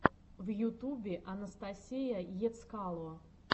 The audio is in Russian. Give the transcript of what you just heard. в ютубе анастасия ецкало